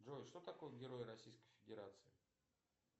джой что такое герой российской федерации